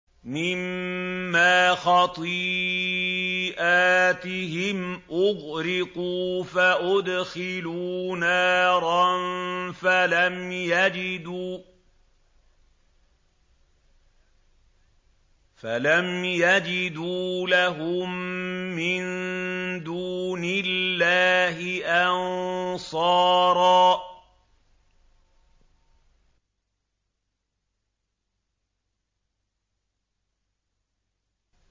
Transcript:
مِّمَّا خَطِيئَاتِهِمْ أُغْرِقُوا فَأُدْخِلُوا نَارًا فَلَمْ يَجِدُوا لَهُم مِّن دُونِ اللَّهِ أَنصَارًا